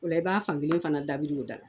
O la i b'a fankelen fana dabiri o da la